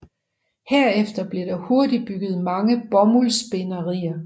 Herefter blev der hurtigt bygget mange bomuldsspinderier